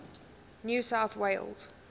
new south wales